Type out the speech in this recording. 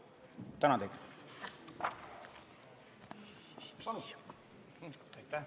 Tänan teid!